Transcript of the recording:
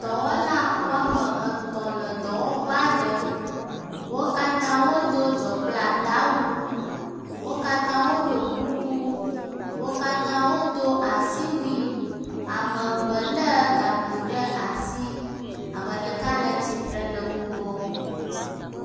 dɔwɔla woame etɔ̃ le dɔwɔƒeaɖe wókatã wodó dzɔkplata wu wókatã woɖó kuku wókatã wodó asiwui, ame eve le gakpo ɖe asi ameɖeka le tsitre le wó gbɔ